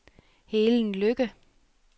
Helen Lykke